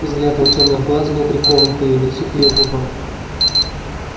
взгляд его тёмных глаз был прикован к её лицу к её губам